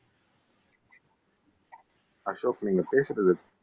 அசோக் நீங்க பேசுறது